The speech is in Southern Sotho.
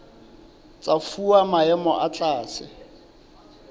tsa fuwa maemo a tlase